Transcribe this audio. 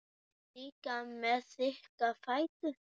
Líka með þykka fætur.